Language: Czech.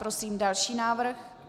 Prosím další návrh.